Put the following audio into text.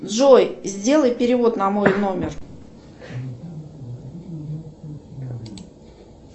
джой сделай перевод на мой номер